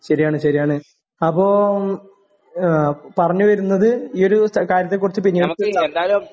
ശരിയാണ് ശരിയാണ് അപ്പം ഏഹ് പറഞ്ഞുവരുന്നത് ഈ ഒരു കാര്യത്തെക്കുറിച്ച് പിന്നെ